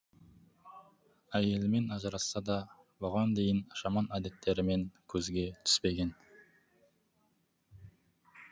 әйелімен ажырасса да бұған дейін жаман әдеттерімен көзге түспеген